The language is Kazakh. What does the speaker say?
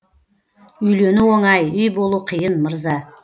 үйлену оңай үй болу қиын мырза